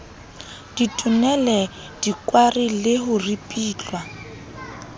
ditonele dikwari le ho ripitlwa